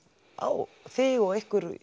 á þig og ykkur